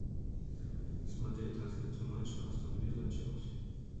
смотреть трансляцию матча астон вилла челси